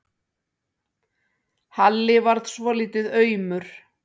Halli varð svolítið aumur.